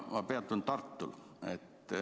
Ma peatun Tartul.